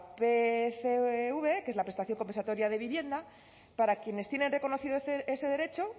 pcv que es la prestación compensatoria de vivienda para quienes tienen reconocido ese derecho